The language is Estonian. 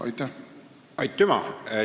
Aitüma!